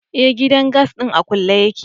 Eh, gidan gas din a kulle yake.